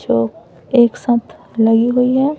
जो एक साथ नहीं बईया--